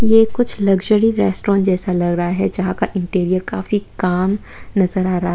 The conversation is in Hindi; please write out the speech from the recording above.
ये कुछ लक्जरी रेस्टोरेंट जैसा लगा रहा हैं जहां का इंटीरियर काफी कॉम नजर आ रहा है।